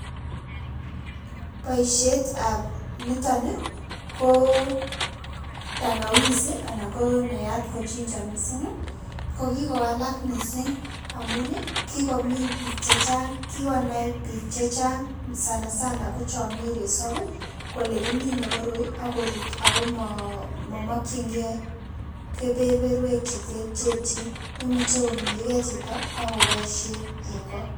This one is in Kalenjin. Boisietab niton ko tangawizi anan konaat mising ko ginger ko kikowalak mising amun kikomin biik chechang, kikonai biik chechang sanasana ko cho mi resop kole kiiminei koroi ako rut ako mamakchinikei keberberwek cheterterchin. Imuchei kominchikei chito ako boishen eng kot.